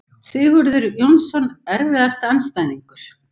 Sigurður Jónsson Erfiðasti andstæðingur?